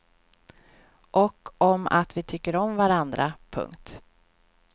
Och om att vi tycker om varandra. punkt